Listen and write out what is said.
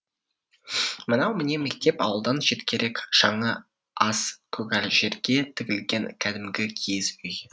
мынау міне мектеп ауылдан шеткерек шаңы аз көгал жерге тігілген кәдімгі киіз үй